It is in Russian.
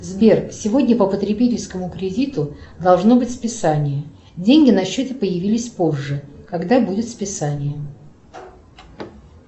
сбер сегодня по потребительскому кредиту должно быть списание деньги на счете появились позже когда будет списание